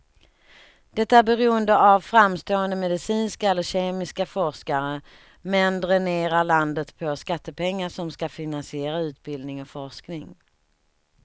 Det är beroende av framstående medicinska eller kemiska forskare, men dränerar landet på skattepengar som ska finansiera utbildning och forskning.